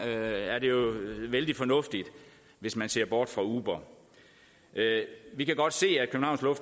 er det jo vældig fornuftigt hvis man ser bort fra uber vi kan godt se